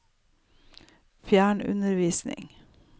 fjernundervisning